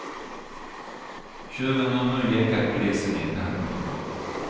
Tjuven har nu gäckat polisen i ett halvår.